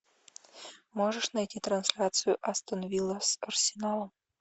можешь найти трансляцию астон вилла с арсеналом